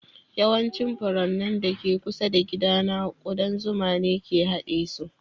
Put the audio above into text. Yawancin furannin da ke kusa da gidana ƙudan zuma ne ke haɗe su